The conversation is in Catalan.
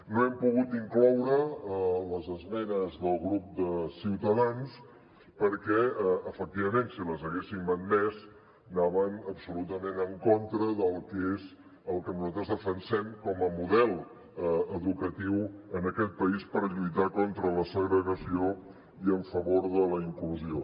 no hem pogut incloure les esmenes del grup de ciutadans perquè efectivament si les haguéssim admès anaven absolutament en contra del que és el que nosaltres defensem com a model educatiu en aquest país per lluitar contra la segregació i en favor de la inclusió